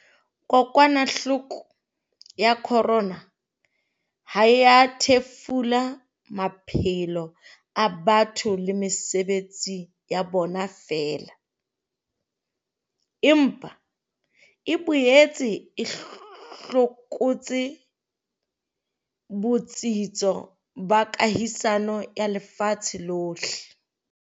Kokwanahloko ya corona ha e a thefula maphelo a batho le mesebetsi ya bona feela, empa e boetse e hlokotse botsitso ba kahisano ya lefatshe lohle.